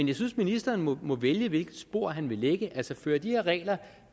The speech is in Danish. jeg synes ministeren må må vælge hvilket spor han vil lægge fører de her regler